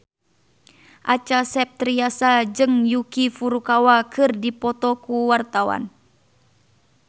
Acha Septriasa jeung Yuki Furukawa keur dipoto ku wartawan